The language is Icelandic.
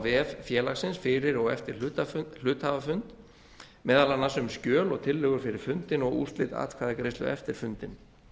vef félagsins fyrir og eftir hluthafafund meðal annars um skjöl og tillögur fyrir fundinn og úrslit atkvæðagreiðslu eftir fundinn